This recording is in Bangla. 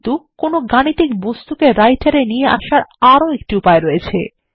কিন্তু কোনো গাণিতিক বস্তুকে রাইটার এ নিয়ে আসার আরো একটি উপায় রয়েছে